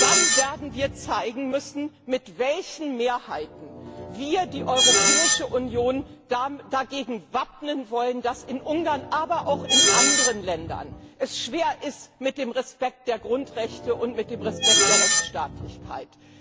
Dann werden wir zeigen müssen, mit welchen Mehrheiten wir die Europäische Union dagegen wappnen wollen, dass es in Ungarn, aber auch in anderen Ländern, schwer ist mit dem Respekt der Grundrechte und mit dem Respekt der Rechtsstaatlichkeit.